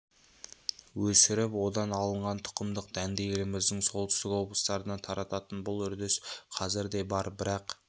өсіріп одан алынған тұқымдық дәнді еліміздің солтүстік облыстарына тарататын бұл үрдіс қазір де бар бірақ